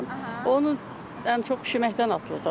Onun ən çox bişirməkdən asılıdır.